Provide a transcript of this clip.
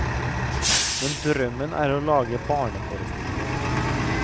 Men drømmen er å lage barneforestillinger.